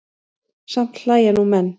Samt hlæja nú menn.